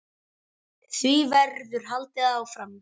Því verður haldið áfram.